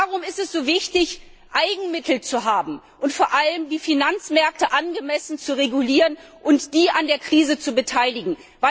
Warum ist es so wichtig, Eigenmittel zu haben, und vor allem die Finanzmärkte angemessen zu regulieren und sie an der Krise zu beteiligen?